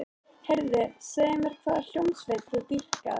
Heyrðu, segðu mér hvaða hljómsveit þú dýrkar.